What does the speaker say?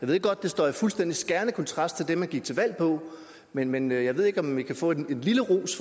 ved godt at det står i fuldstændig skærende kontrast til det man gik til valg på men men jeg ved ikke om vi kan få en lille ros